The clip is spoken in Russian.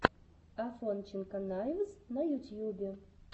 афонченко найвз на ютьюбе